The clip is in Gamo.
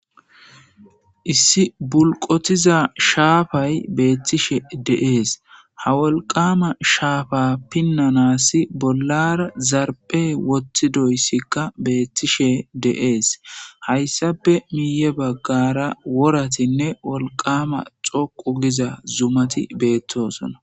Issi bulqotiza shaafay beettishe deees ha wolqama shaafa pinnanasi bollar zarpe woththidoyssikka beettishe de7ees hayssape miiye baggara woratinne wolqama xoqu giza zumati beettosona